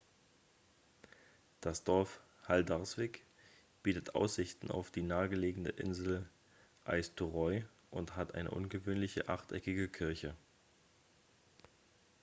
das dorf haldarsvík bietet aussichten auf die nahegelegene insel eysturoy und hat eine ungewöhnliche achteckige kirche